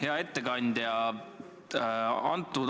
Hea ettekandja!